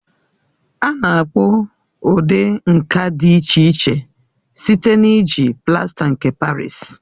A na-akpụ ụdị nka dị iche iche site na-iji plasta nke Parịsi.